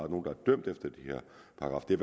det er